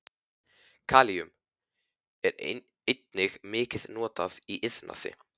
Kalíum er einnig mikið notað í iðnaði.